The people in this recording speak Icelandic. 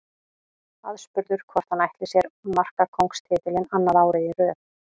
Aðspurður hvort hann ætli sér markakóngstitilinn annað árið í röð.